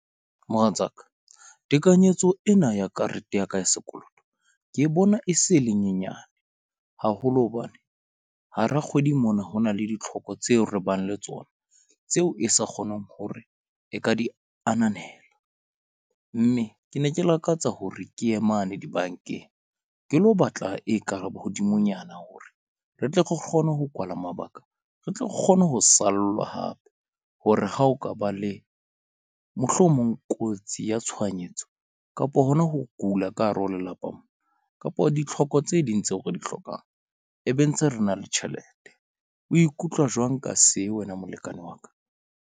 Mohatsaka tekanyetso ena ya karete ya ka ya sekoloto ke bona e se e le nyenyane haholo hobane hara kgwedi mona, ho na le ditlhoko tseo re bang le tsona tseo e sa kgoneng hore e ka di ananela. Mme ke ne ke lakatsa hore ke ye mane di-bank-eng, ke lo batla e kare hodimonyana hore re tle re kgone ho kwala mabaka. Re tle re kgone ho sallwa hape hore ha o ka ba le mohlomong kotsi ya tshohanyetso kapo hona ho kula ka hare ho lelapa mona kapa ditlhoko tse ding tseo re di hlokang, e be ntse re na le tjhelete. O ikutlwa jwang ka se wena molekane wa ka?